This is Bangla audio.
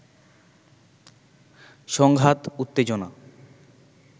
সংঘাত উত্তেজনা